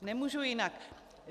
Nemůžu jinak.